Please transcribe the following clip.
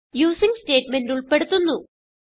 using statement ഉൾപ്പെടുത്തുന്നു